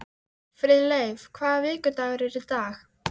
Friðleif, hvaða vikudagur er í dag?